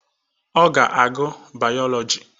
Ọ ga-agụ Bayọlọji